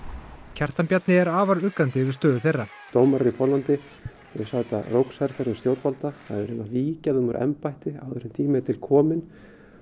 Kjartan Bjarni er afar uggandi yfir stöðu þeirra dómarar í Póllandi þau sæta rógsherferðum stjórnvalda það er verið að víkja þeim úr embætti áður en tími er til kominn